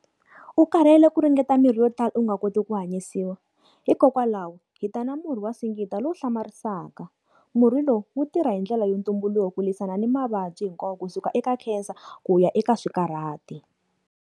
U karhele ku ringeta mirhi yo tala u nga koti ku hanyisiwa hikokwalaho, hi ta na murhi wa singita lowu hlamarisaka. Murhi lowu, wu tirha hi ndlela ya ntumbuluko ku lwisana ni mavabyi hinkwawo kusuka eka cancer ku ya eka swikarhati.